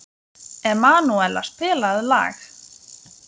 Emanúela, spilaðu lag.